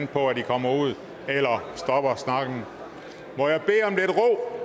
på at i kommer ud eller stopper snakken